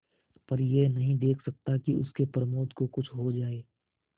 पर यह नहीं देख सकता कि उसके प्रमोद को कुछ हो जाए